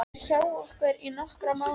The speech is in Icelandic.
Hann er hjá okkur í nokkra mánuði.